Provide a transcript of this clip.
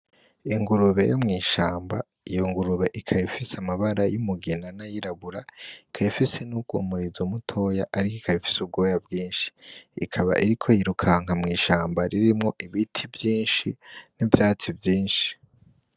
Ingurube yo mw'ishamba, iyo ngurube ikaba ifise amabara y'umugina n'ayirabura, ikaba ifise n'umurizo mutoya ariko ikaba ifise ubwoya bwinshi, ikaba iriko yirukanga mw'ishamba ririmwo ibiti vyinshi n'ivyatsi vyinshi.